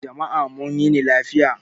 Jama' mun yini lafiya